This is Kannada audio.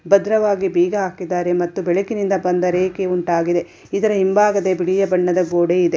ಭದ್ರವಾಗಿ ಬೀಗ ಹಾಕಿದ್ಧಾರೆ ಮತ್ತು ಬೆಳಕಿನಿಂದ ಬಂದ ರೇಖೆ ಉಂಟಾಗಿದೆ ಇದರ ಹಿಂಭಾಗದಲ್ಲಿ ಬಿಳಿಯ ಬಣ್ಣದ ಗೋಡೆ ಇದೆ.